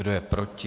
Kdo je proti?